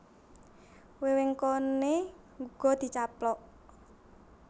Wewengkoné uga dicaplok